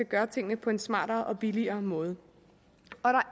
gøre tingene på en smartere og billigere måde